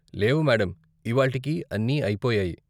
లేవు మేడమ్, ఇవాళ్టికి అన్నీ అయిపోయాయి .